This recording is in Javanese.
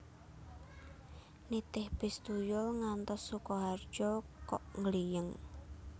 Nitih bis tuyul ngantos Sukoharjo kok nggliyeng